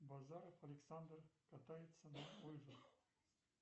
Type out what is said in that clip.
базаров александр катается на лыжах